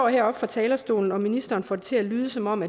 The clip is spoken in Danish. heroppe fra talerstolen og ministeren får det til at lyde som om